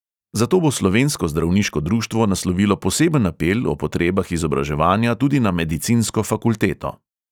Zato bo slovensko zdravniško društvo naslovilo poseben apel o potrebah izobraževanja tudi na medicinsko fakulteto.